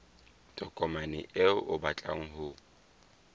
tokomane eo o batlang ho